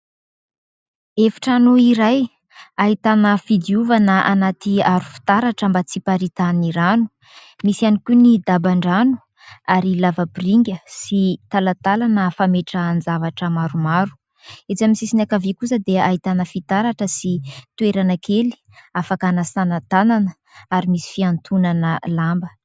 Efitrano iray ahitana fidiovana anatỳ aro fitaratra mba tsy hiparitahan'ny rano, misy ihany koa ny daba-drano ary lavapiringa sy talatalana fametrahana ny zavatra maromaro. Etsy amin'ny sisiny ankavia kosa dia ahitana fitaratra sy toerana kely afaka hanasana tanana ary misy fianotonana lamba.